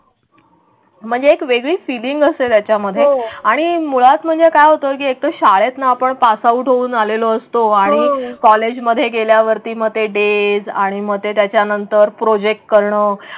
म्हणजे एक वेगळी फीलिंग असेल. त्याच्यामध्ये आणि मुळात म्हणजे काय? हे एकदा शाळेत ना आपण पासआऊट होऊन आलेलो असतो आणि कॉलेजमध्ये गेल्यावरती डेज आणि मग त्याच्यानंतर प्रॉजेक्ट करण.